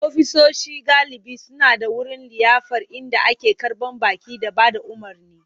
Ofisoshi galibi suna da wurin liyafar inda ake karɓar baƙi da ba da umarni.